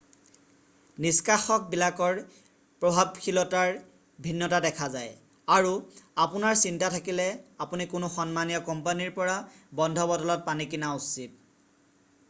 নিষ্কাষকবিলাকৰ প্ৰভাৱশীলতাৰ ভিন্নতা দেখা যায় আৰু আপোনাৰ চিন্তা থাকিলে আপুনি কোনো সন্মানীয় কোম্পানীৰ পৰা বন্ধ বটলত পানী কিনা উচিত